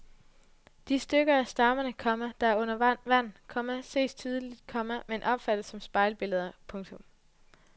De stykker af stammerne, komma der er under vand, komma ses tydeligt, komma men opfattes som spejlbilleder. punktum